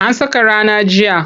An saka rana jiya.